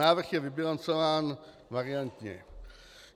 Návrh je vybilancován variantně.